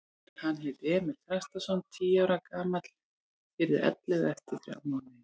Hann hét Emil Þrastarson, tíu ára gamall, yrði ellefu eftir þrjá mánuði.